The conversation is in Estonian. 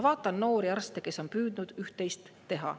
Vaatan noori arste, kes on ka püüdnud ühtteist teha.